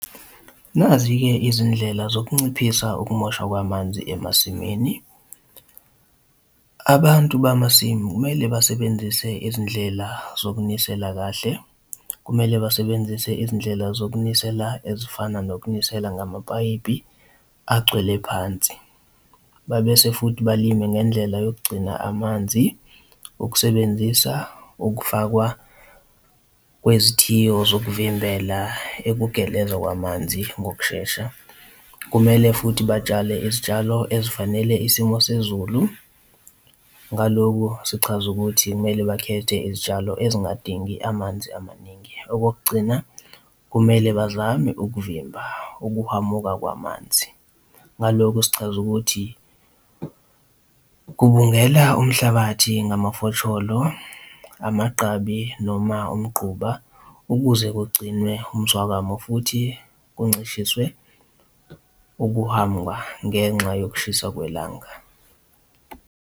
Nazi-ke izindlela zokunciphisa ukumoshwa kwamanzi emasimini. Abantu bamasimu kumele basebenzise izindlela zokunisela kahle, kumele basebenzise izindlela zokunisela ezifana nokunisela ngamapayipi agcwele phansi, babese futhi balime ngendlela yokugcina amanzi ukusebenzisa ukufakwa kwezithiyo zokuvimbela ukugeleza kwamanzi ngokushesha. Kumele futhi batshale izitshalo ezifanele isimo sezulu, ngaloku sichaza ukuthi kumele bakhethe izitshalo ezingadingi amanzi amaningi. Okokugcina kumele bazame ukuvimba ukuhwamuka kwamanzi, ngaloku sichaza ukuthi kubungela umhlabathi ngamafosholo, amagqabi noma umgquba ukuze kugcinwe umswakamo futhi kuncishiswe ukuhamba ngenxa yokushisa kwelanga.